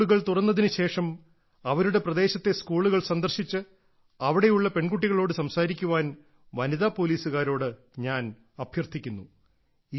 സ്കൂളുകൾ തുറന്നതിനു ശേഷം അവരുടെ പ്രദേശത്തെ സ്കൂളുകൾ സന്ദർശിച്ച് അവിടെയുള്ള പെൺകുട്ടികളോട് സംസാരിക്കാൻ വനിതാ പോലീസുകാരോട് ഞാൻ അഭ്യർത്ഥിക്കുന്നു